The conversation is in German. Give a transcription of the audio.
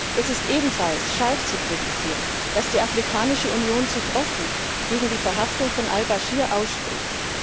Es ist ebenfalls scharf zu kritisieren, dass die Afrikanische Union sich offen gegen die Verhaftung von al Baschir ausspricht.